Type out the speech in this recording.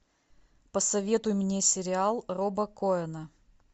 посоветуй мне сериал роба коэна